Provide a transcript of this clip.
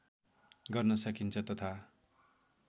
गर्न सकिन्छ तथा